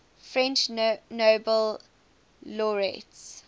french nobel laureates